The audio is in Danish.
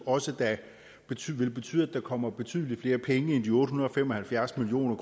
også vil betyde at der kommer betydelig flere penge end de otte hundrede og fem og halvfjerds million